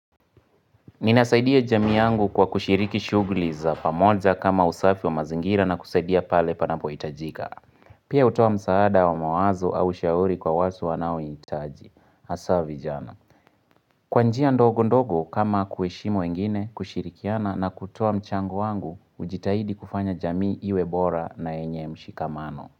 Ninasaidia jamii yangu kwa kushiriki shughuli za pamoja kama usafi wa mazingira na kusaidia pale panapohitajika. Pia hutoa msaada wa mawazo au ushauri kwa wasu wanaohitaji. Hasa vijana. Kwa njia ndogo ndogo kama kuheshimu wengine kushirikiana na kutoa mchango wangu hujitahidi kufanya jamii iwe bora na yenye mshikamano.